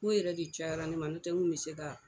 K'o yɛrɛ de cayara ne ma, n'o tɛ n kun mi se ka